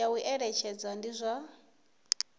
ya u eletshedza ndi zwa